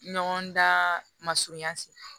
Ɲɔgɔn dan masurunya se